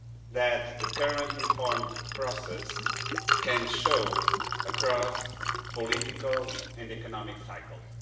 that the current reform process can show across political and economic cycles.